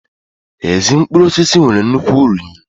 Ezi mkpụrụ osisi nwere nnukwu uru nri